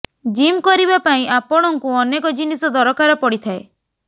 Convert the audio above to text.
gym କରିବା ପାଇଁ ଆପଣଙ୍କୁ ଅନେକ ଜିନିଷ ଦରକାର ପଡିଥାଏ